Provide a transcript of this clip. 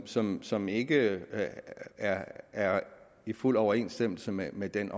som som ikke er er i fuld overensstemmelse med med den